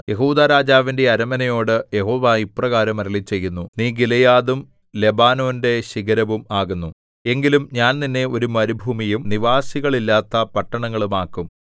യെഹൂദാരാജാവിന്റെ അരമനയോട് യഹോവ ഇപ്രകാരം അരുളിച്ചെയ്യുന്നു നീ ഗിലെയാദും ലെബാനോന്റെ ശിഖരവും ആകുന്നു എങ്കിലും ഞാൻ നിന്നെ ഒരു മരുഭൂമിയും നിവാസികളില്ലാത്ത പട്ടണങ്ങളും ആക്കും